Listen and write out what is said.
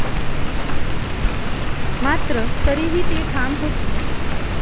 मात्र तरीही ती ठाम होती.